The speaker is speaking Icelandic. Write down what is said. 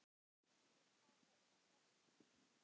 Að taka upp veskið.